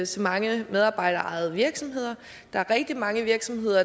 så mange medarbejderejede virksomheder der er rigtig mange virksomheder